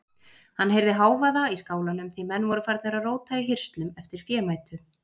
Hann heyrði hávaða í skálanum því menn voru farnir að róta í hirslum eftir fémætu.